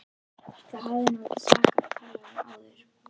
Það hefði nú ekki sakað að tala við mig áður!